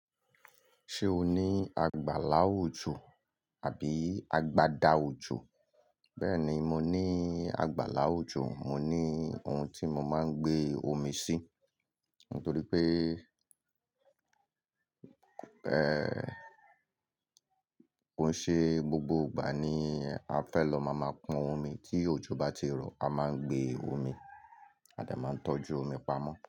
Ṣé o ní àgbàlá òjò àbí àgbàda òjò? Bẹ́ẹ̀ni, mo ní àgbàlá òjò, mo ní ohun tí mo máa ń gbé omi sí nítorí pé, ẹ́, kò ṣe gbogbo ìgbà ni a fẹ́ lọ máa máa pọn omi tí òjò bá ti rọ̀, a máa ń gbé omi, a dà máa ń tọ́jú omi pamọ́